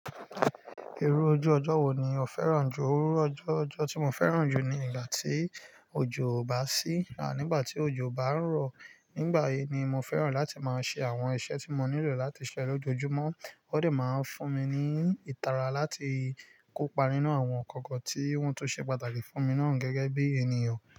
Irú ojú ọjọ́ wo ni o fẹ́ràn jù? Irú ojú ọjọ́ tí mo fẹ́ràn jù ni ìgbà tí òjò ò bá sí à nígbà tí òjò ó bá rọ̀. Nígbà yìí ni mo fẹ́ràn láti máa ṣe àwọn iṣẹ́ tí mo nílò láti ṣe lójoojúmọ́. Ó dẹ̀ máa ń fún mi ní ìtara láti kópa nínú àwọn ńkan kan tí wọ́n tùn ṣe pàtàkì fún mi náà gẹ́gẹ́ bí ènìyàn.